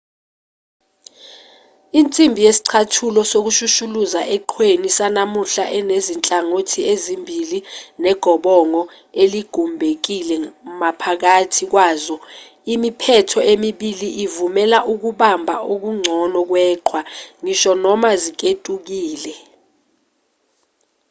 insimbi yesicathulo sokushushuluza eqhweni sanamuhla inezinhlangothi ezimbili negobongo eligumbekile maphakathi kwazo imiphetho emibili ivumela ukubamba okungcono kweqhwa ngisho noma ziketukile